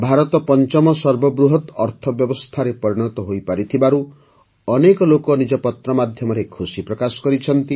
ଭାରତ ପଞ୍ଚମ ସର୍ବବୃହତ୍ ଅର୍ଥବ୍ୟବସ୍ଥାରେ ପରିଣତ ହୋଇପାରିଥିବାରୁ ଅନେକ ଲୋକ ନିଜ ପତ୍ର ମାଧ୍ୟମରେ ଖୁସି ପ୍ରକାଶ କରିଛନ୍ତି